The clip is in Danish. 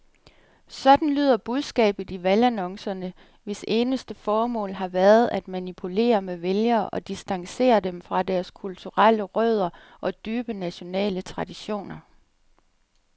Sådan lyder budskabet i valgannoncerne, hvis eneste formål har været at manipulere med vælgere og distancere dem fra deres kulturelle rødder og dybe nationale traditioner.